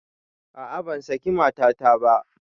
A'a ban saki matata ba